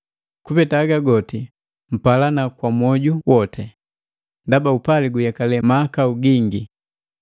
Kupeta haga goti mpalana kwa mwoju woti, ndaba upali guyekale mahakau gingi.